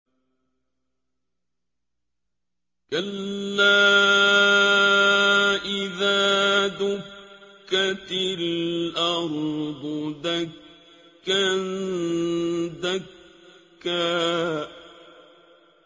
كَلَّا إِذَا دُكَّتِ الْأَرْضُ دَكًّا دَكًّا